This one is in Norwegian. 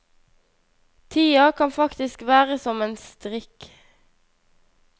Tida kan faktisk være som en strikk.